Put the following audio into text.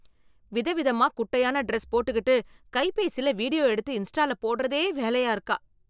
விதவிதமா குட்டையான ட்ரெஸ் போட்டுகிட்டு, கைபேசில வீடியோ எடுத்து இன்ஸ்டால போட்றதே வேலையா இருக்கா...